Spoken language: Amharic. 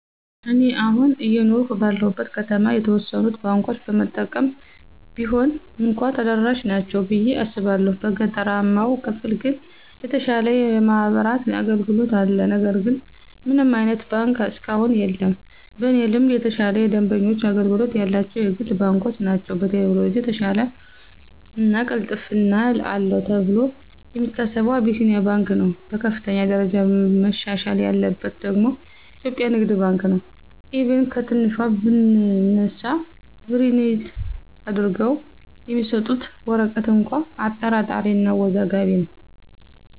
እኔ አሁን አየኖርሁ ባለሁበት ከተማ የተወሰኑት ባንኮች በመጠኑም ቢሆን እንኳ ተደራሽ ናቸው ብየ አስባለሁ። በገጠራማው ክፍል ግን የተሻለ የማብራት አገልግሎት አለ ነገር ግን ምንም አይነት ባንክ እስካሁን የለም። በእኔ ልምድ የተሻለ የደንበኞች አገልግሎት ያላቸው የግል ባንኮች ናቸው። በቴክኖሎጅ የተሻለው እና ቅልጥፍና አለው ተብሎ የሚታሰበው አቢሲንያ ባንክ ነው። በከፍተኛ ደረጃ መሻሻል ያለበት ደግሞ ኢትዮጵያ ንግድ ባንክ ነው፤ ኢቭን ከትንሿ ብንነሳ ፕሪንት አድርገው የሚሰጡት ወረቀት እንኳ አጠራጣሪ እና አወዛጋቢ ነው።